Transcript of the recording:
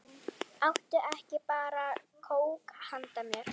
Áttu ekki bara kók handa mér?